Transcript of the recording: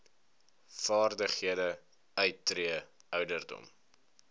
vaardighede uittree ouderdom